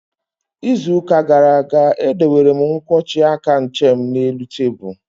Ịzụ ụka gara aga, e dowere m nkwọji aka nche m n'elu tebụlu